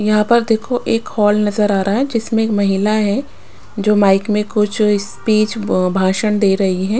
यहाँ पर देखो एक हॉल नज़र आ रहा है जिसमें एक महिला है जो माइक में कुछ स्पीच भाषण दे रही है।